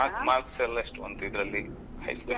Marks marks ಎಲ್ಲಾ ಎಷ್ಟು ಬಂತು ಇದ್ರಲ್ಲಿ?highschool ಅಲ್ಲಿ?